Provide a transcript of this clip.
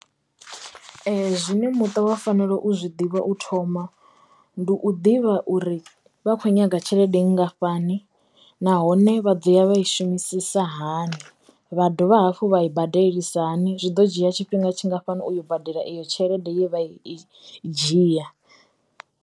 Zwine muṱa wa fanela u zwi ḓivha u thoma ndi u ḓivha uri vha kho nyaga tshelede nngafhani nahone vha ḓo ya vha i shumisisa hani, vha dovha hafhu vha i badelisa hani zwi ḓo dzhia tshifhinga tshingafhani uyo u badela iyo tshelede ye vha i dzhia.